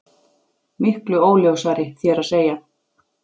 Miklu óljósari, þér að segja.